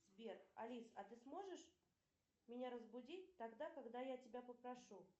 сбер алиса а ты сможешь меня разбудить тогда когда я тебя попрошу